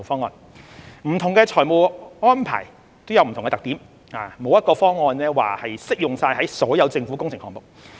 不同的財務安排各有特點，沒有一個方案會適用於所有政府工程項目。